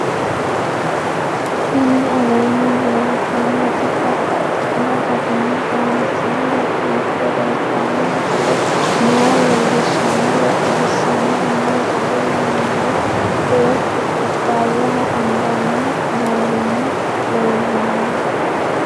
Tinni aleenni leelittannotti babaxxittinno garinni loonseenna biiffe leelittanno misile maa leelishshanno woy xawisannori maattiya yinummoro beettu kubbayaho anganni noohunna leelanno